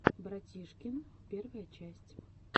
братишкин первая часть